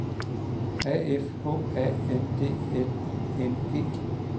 A F H A N D L I N G